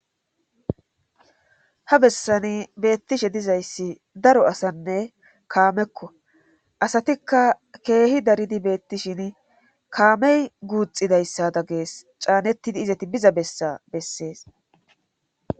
ha bessani beettishe dizayssi daro asanne kaamekko asatikka keehi daridi beettishin kaamey guuxidayssada gees caanettidi izati biza bessa bessees